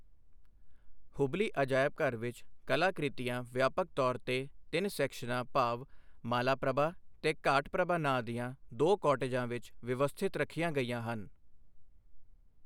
ਹੁਬਲੀ ਅਜਾਇਬਘਰ ਵਿੱਚ, ਕਲਾਕ੍ਰਿਤੀਆਂ ਵਿਆਪਕ ਤੌਰ ਤੇ ਤਿੰਨ ਸੈਕਸ਼ਨਾਂ ਭਾਵ ਮਾਲਾਪ੍ਰਭਾ ਤੇ ਘਾਟਪ੍ਰਭਾ ਨਾਂਅ ਦੀਆਂ ਦੋ ਕੌਟੇਜਾਂ ਵਿੱਚ ਵਿਵਸਥਿਤ ਰੱਖੀਆਂ ਗਈਆਂ ਹਨ।